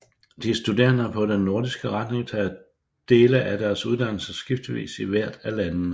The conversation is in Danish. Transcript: De studerende på den nordiske retning tager dele af deres uddannelse skiftevis i hvert af landene